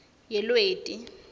yelweti